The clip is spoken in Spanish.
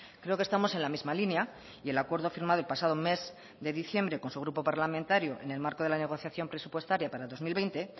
creo que estamos en la misma línea y el acuerdo firmado el pasado mes de diciembre con su grupo parlamentario en el marco de la negociación presupuestaria para el dos mil veinte